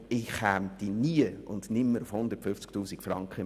Ich käme nie auf 150 000 Franken jährlich.